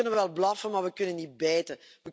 We kunnen wel blaffen, maar we kunnen niet bijten.